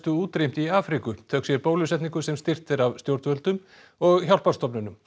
útrýmt í Afríku þökk sé bólusetningu sem styrkt er af stjórnvöldum og hjálparstofnunum